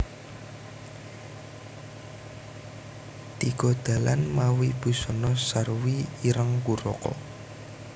Tiga dalan mawi busana sarwi ireng kuroko